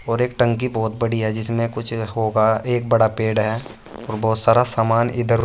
और एक टंकी बहुत बड़ी है जिसमें कुछ होगा एक बड़ा पेड़ है और बहुत सारा सामान इधर --